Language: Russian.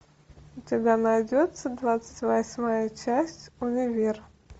у тебя найдется двадцать восьмая часть универ